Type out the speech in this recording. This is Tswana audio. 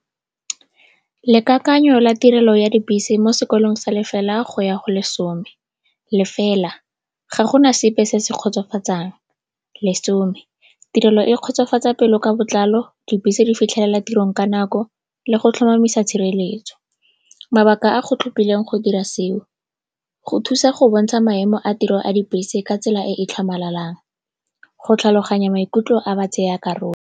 Lekakanyo la tirelo ya dibese mo sekolong sa lefela go ya go lesome. Lefela, ga gona sepe se se kgotsofatsang. Lesome, tirelo e kgotsofatsa pelo ka botlalo, dibese di fitlhelela tirong ka nako le go tlhomamisa tshireletso. Mabaka a go tlhophileng go dira seo, go thusa go bontsha maemo a tiro a dibese ka tsela e e tlhamalalang, go tlhaloganya maikutlo a batsayakarolo.